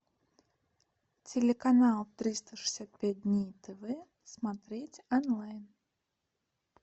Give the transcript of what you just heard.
телеканал триста шестьдесят пять дней тв смотреть онлайн